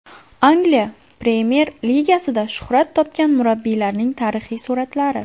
Angliya Premyer-Ligasida shuhrat topgan murabbiylarning tarixiy suratlari .